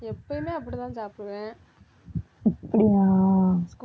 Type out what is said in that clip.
அப்படியா?